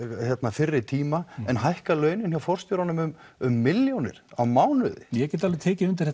fyrri tíma en hækkað síðan launin hjá forstjórum um um milljónir á mánuði ég get alveg tekið undir